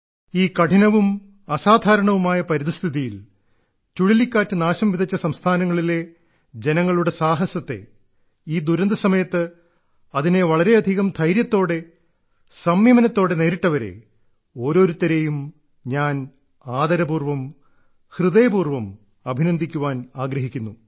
ഈ കഠിനവും അസാധാരണവുമായ പരിതസ്ഥിതിയിൽ ചുഴലിക്കാറ്റ് നാശംവിതച്ച സംസ്ഥാനങ്ങളിലെ ജനങ്ങളുടെ സാഹസത്തെ ഈ ദുരന്ത സമയത്ത് അതിനെ വളരെയധികം ധൈര്യത്തോടെ സംയമനത്തോടെ നേരിട്ടവരെ ഓരോരുത്തരെയും ഞാൻ ആദരപൂർവ്വം ഹൃദയപൂർവ്വം അഭിനന്ദിക്കുവാൻ ആഗ്രഹിക്കുന്നു